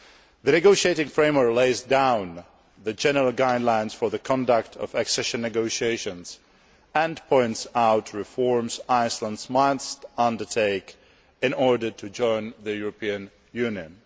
The negotiating framework lays down the general guidelines for the conduct of accession negotiations and points out reforms Iceland must undertake in order to join the European Union.